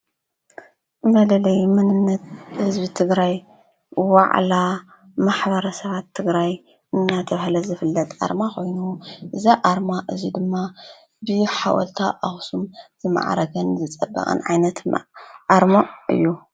መለለይ መንነት ህዝቢ ትግራይ ዋዕላ ማሕበረሰባት ትግራይ እናተባህለ ዝፍለጥ አርማ ኮይኑ እዛ አርማ እዚ ድማ ብሓወልቲ አክሱም ዝማዕረገን ዝፀበቀን ዓይነትን አረማ እዩ፡፡